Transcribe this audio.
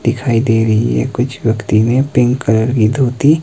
दिखाई दे रही है कुछ व्यक्ति में पिंक कलर की धोती--